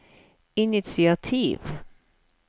initiativ